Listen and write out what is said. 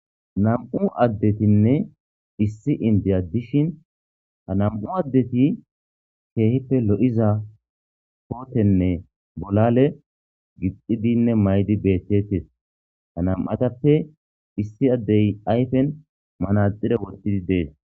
nam7u addetinne issi indi adishin ha nam7u addeti keehippe lo7iza kootenne bolale gixxidinne maydi beettettes ha nam7atappe issi addey ayfen manaxire wottidi dees